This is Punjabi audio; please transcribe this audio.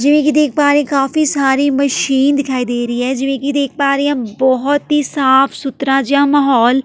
ਜਿਵੇਂ ਕਿ ਦੇਖ ਪਾ ਰਹੀ ਹਾਂ ਕਾਫੀ ਸਾਰੀ ਮਸ਼ੀਨ ਦਿਖਾਈ ਦੇ ਰਹੀ ਹੈ ਜਿਵੇਂ ਕਿ ਦੇਖ ਪਾ ਰਹੀ ਹਾਂ ਬਹੁਤ ਹੀ ਸਾਫ਼ ਸੁਥਰਾ ਜਿਹਾ ਮਾਹੌਲ --